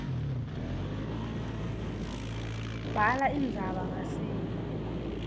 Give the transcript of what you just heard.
bhala indzaba ngasinye